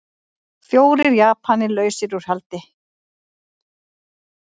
Fjórir Japanar lausir út haldi